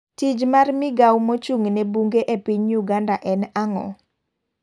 Tij mar migao mochunng' ne bunge e piny Uganda en ang'o?